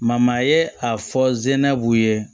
ye a fɔ zena bu ye